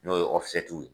N'o ye ye